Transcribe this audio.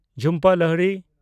Jhumpa Lahiri